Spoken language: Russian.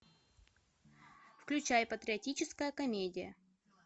включай патриотическая комедия